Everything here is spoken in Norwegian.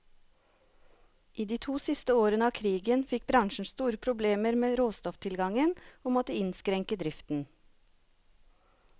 I de to siste årene av krigen fikk bransjen store problemer med råstofftilgangen, og måtte innskrenke driften.